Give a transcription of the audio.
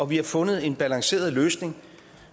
vi har fundet en balanceret løsning